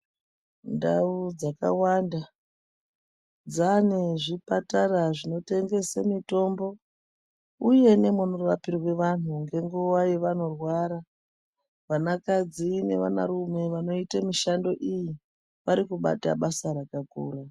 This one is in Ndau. Ndau dzakawanda dzaane zvipatara zvinotengese mitombo, uye nemunorapirwa antu ngenguva yavanorwara. Vanakadzi nevanarume vanoita mishando iyi varikubata basa rakakura.